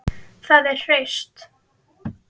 Þau eru hraust